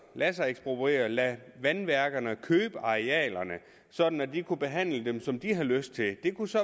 lade sig ekspropriere at lade vandværkerne købe arealerne sådan at de kunne behandle dem som de havde lyst til det kunne så